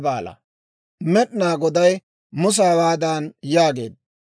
Med'inaa Goday Musa hawaadan yaageedda,